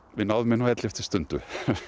við náðum henni á elleftu stundu